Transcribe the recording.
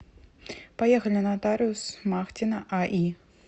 поехали нотариус смахтина аи